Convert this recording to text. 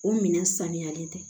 O minɛn saniyalen tɛ